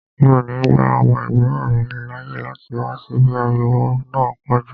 Mi ò ní gba ọmọ ẹ̀gbọ́n mi láàyè láti wá síbí, ariwo náà pọ̀ jù